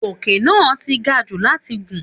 Òkè náà ti gajù láti gùn